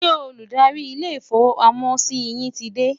ṣé Olùdarí ilé ifowo pàmò sí yín tí dé?